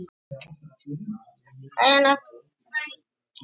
Þá varð engin lykt af skinnunum, eins og ef lýsi var haft.